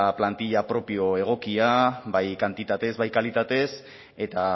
plantilla propio egokia bai kantitatez bai kalitatez eta